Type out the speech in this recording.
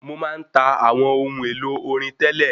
Mo má ń ta àwọn ohun èlò orin tẹ́lẹ̀.